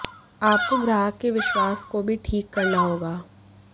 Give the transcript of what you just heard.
आपको ग्राहक के विश्वास को भी ठीक करना होगा